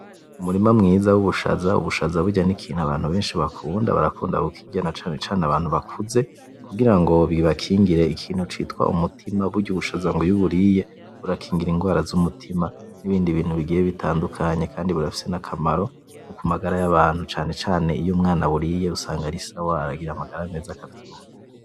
Umurima mwiza w’ubushaza, ubushaza burya n’ikintu abantu benshi bakunda barakunda kukriya na cane cane abantu bakuze kugirango bibakingire ikintu citwa umutima burya ubushaza mgw’iyo uburiye burakingira ingwara z’umutima n’ibindi bintu bigiye bitandukanye kandi burafise n’akamaro nkoku magara yabantu cane cane iyo umwana aburiye usanga arisawa aragira amagara meza akavyibuha.